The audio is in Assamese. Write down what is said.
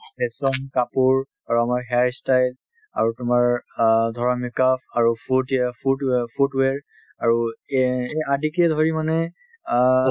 fashion কাপোৰ আৰু আমাৰ hair ই style আৰু তোমাৰ অ ধৰা make up আৰু foot ya~ foot wea~ foot wear আৰু এ~ এই আদিকে ধৰি মানে অ